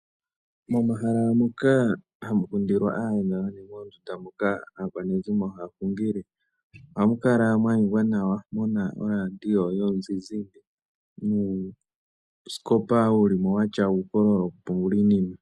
Momahala moka hamu kundilwa aayenda nenge mondunda moka aakwanezimo haya hungile, ohamu kala mwa ningwa nawa muna orandio yomuzizimba, nuusikopa watya ukololo wo kupungula iinima.